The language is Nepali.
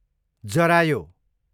जरायो